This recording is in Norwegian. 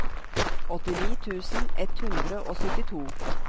åttini tusen ett hundre og syttito